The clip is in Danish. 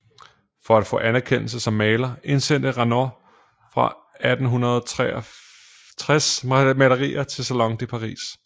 For at få anerkendelse som maler indsendte Renoir fra 1863 malerier til Salon de Paris